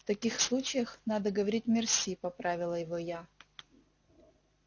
в таких случаях надо говорить мерси поправила его я